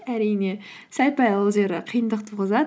әрине сәл пәл ол жері қиындық туғызады